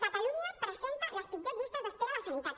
catalunya presenta les pitjors llistes d’espera a la sanitat